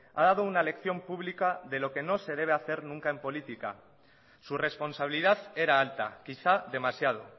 ha dado una lección pública de lo que no se debe hacer nunca en política su responsabilidad era alta quizá demasiado